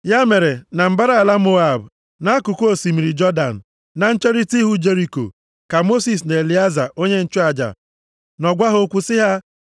Ya mere, na mbara ala Moab, nʼakụkụ osimiri Jọdan, na ncherita ihu Jeriko, ka Mosis na Elieza onye nchụaja nọ gwa ha okwu sị ha,